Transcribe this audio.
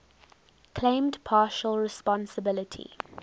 claimed partial responsibility